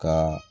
Ka